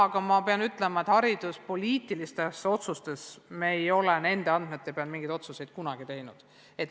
Aga ma pean ütlema, et hariduspoliitilistes otsustes ei ole me nende andmete pealt kunagi mingeid otsuseid teinud.